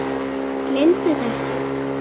Gleymdu þessu